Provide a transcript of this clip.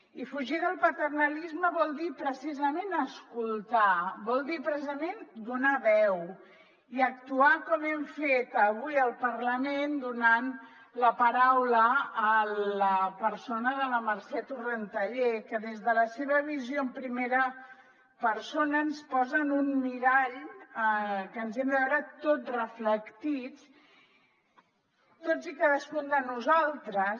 i fugir del paternalisme vol dir precisament escoltar vol dir precisament donar veu i actuar com hem fet avui al parlament donant la paraula a la persona de la mercè torrentallé que des de la seva visió en primera persona ens posa en un mirall que ens hi hem de veure tot reflectits tots i cadascun de nosaltres